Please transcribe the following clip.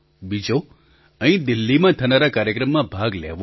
બીજો અહીં દિલ્લીમાં થનારા કાર્યક્રમમાં ભાગ લેવો